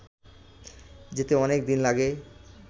যেতে অনেক দিন লাগে